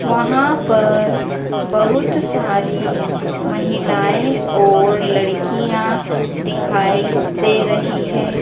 वहां पर बहुत सारी महिलाएं और लड़कियां दिखाई दे रही हैं।